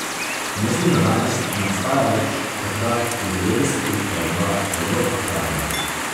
Mislim, da danes ne obstaja več, takrat, v devetdesetih, pa je bila zelo aktualna.